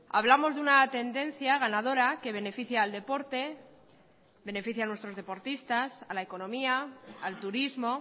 hablamos de una tendencia ganadora que beneficia al deporte beneficia a nuestros deportistas a la economía al turismo